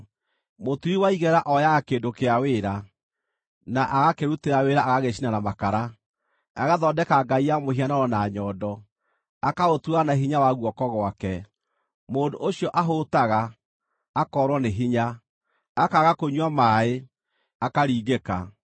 Mũturi wa igera ooyaga kĩndũ kĩa wĩra, na agakĩrutĩra wĩra agagĩcina na makara; agathondeka ngai ya mũhianano na nyondo, akaũtura na hinya wa guoko gwake. Mũndũ ũcio ahũũtaga, akoorwo nĩ hinya; akaga kũnyua maaĩ, akaringĩka.